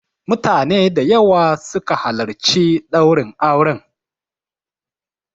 Mutane da yawa su ka halarci ɗaurin auren.